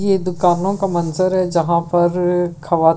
ये दुकानों का मंज़र है जहां पर खवा --